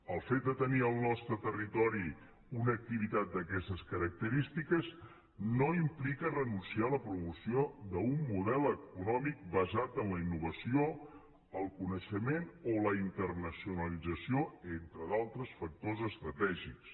el fet de tenir al nostre territori una activitat d’aquestes característiques no implica renunciar a la promoció d’un model econòmic basat en la innovació el coneixement o la internacionalització entre d’altres factors estratègics